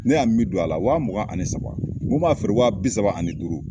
Ne y'a min don a la wa mugan ani saba, n ko n b'a feere wa bi saba ani duuru.